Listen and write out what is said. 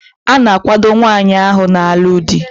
A na-akwado nwaanyi ahu na-alu di